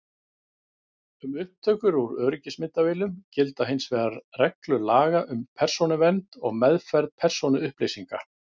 Um upptökur úr öryggismyndavélum gilda hins vegar reglur laga um persónuvernd og meðferð persónuupplýsinga.